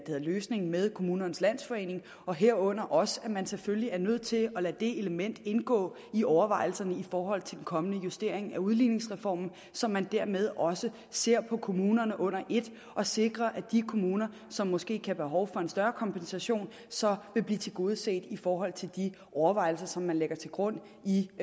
løsning med kommunernes landsforening herunder også at man selvfølgelig er nødt til at lade det element indgå i overvejelserne i forhold til den kommende justering af udligningsreformen så man dermed også ser på kommunerne under et og sikrer at de kommuner som måske kan have behov for en større kompensation så vil blive tilgodeset i forhold til de overvejelser som man lægger til grund i